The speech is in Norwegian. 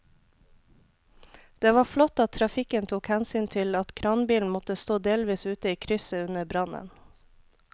Det var flott at trafikken tok hensyn til at kranbilen måtte stå delvis ute i krysset under brannen.